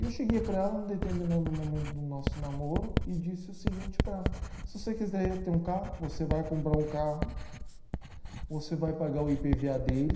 E eu cheguei para ela em determinado momento do nosso namoro e disse o seguinte para ela, se você quiser ter um carro, você vai comprar um carro, você vai pagar o I pe ve a dele,